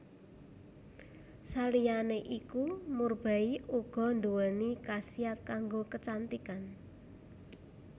Saliyané iku murbei uga nduwéni khasiat kanggo kecantikan